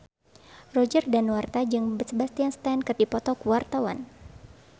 Roger Danuarta jeung Sebastian Stan keur dipoto ku wartawan